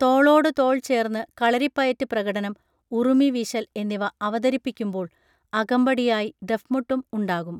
തോളോടു തോൾ ചേർന്ന് കളരിപ്പയറ്റ് പ്രകടനം ഉറുമി വീശൽ എന്നിവ അവതരിപ്പിക്കുമ്പോൾ അകമ്പടിയായി ദഫ്മുട്ടും ഉണ്ടാകും